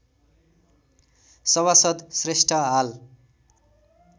सभासद श्रेष्ठ हाल